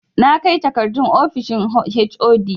Na kai takardun ofishin HOD